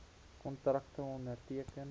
kontrakte onderteken